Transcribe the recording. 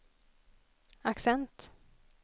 accent